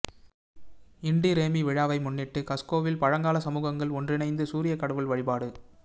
into Raymi விழாவை முன்னிட்டு கஸ்கோவில் பழங்கால சமூகங்கள் ஒன்றிணைந்து சூரியக் கடவுள் வழிபாடு